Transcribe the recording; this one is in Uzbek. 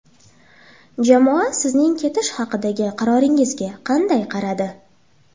Jamoa sizning ketish haqidagi qaroringizga qanday qaradi?